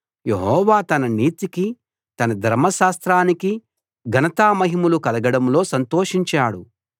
యెహోవా తన నీతికీ తన ధర్మశాస్త్రానికీ ఘనతామహిమలు కలగడంలో సంతోషించాడు